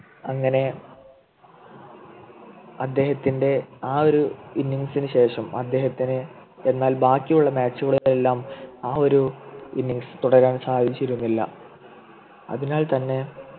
അങ്ങനെ അദ്ദേഹത്തിൻ്റെ ആ ഒരു Innings നു ശേഷം അദ്ദേഹത്തിന് എന്നാൽ ബാക്കിയുള്ള Match കളിൽ എല്ലാം ആ ഒരു Innings തുടരാൻ സാധിച്ചിരുന്നില്ല അതിനാൽ തന്നെ